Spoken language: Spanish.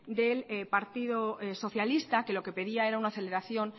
del partido socialista que lo que pedía era una aceleración